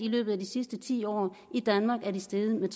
løbet af de sidste ti år steget med